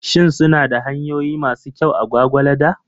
Shin suna da hanyoyi masu kyau a Gwagwalada?